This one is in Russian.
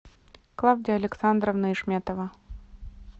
клавдия александровна ишметова